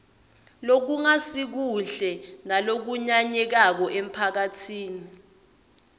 lokungasikuhle nalokunyanyekako emphakatsini